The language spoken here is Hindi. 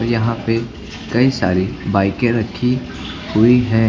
यहां पे कई सारी बाईके रखी हुई हैं।